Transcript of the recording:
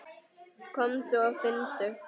Komdu og finndu!